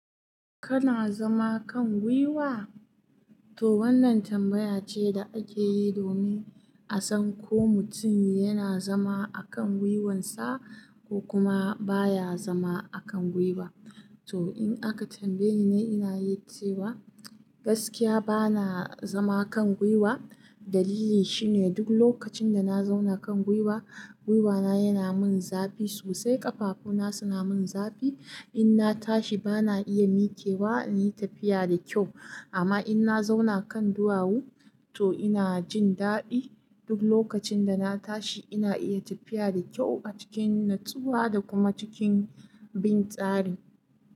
Kana zama kan gwiwa? To wannan tambaya ce da ake yi domin a san ko mutum yana zama akan gwiwansa ko kuma baya zama akan gwiwa. To in aka tambaye ni, ina yi ce wa gaskiya bana zama kan gwiwa. Dalili shine duk lokacin da na zauna kan gwiwa, gwiwana yana min zafi. Sosai ƙafafuna suna min zafi. In na tashi bana iya mikewa inyi tafiya da kyau. Amma in na zauna kan duwawu, to ina jin daɗi. Duk lokacin da na tashi ina iya tafiya da kyau a cikin natsuwa da kuma cikin bin tsari.